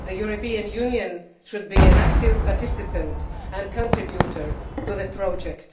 The European Union should be an active participant and a contributor to the project.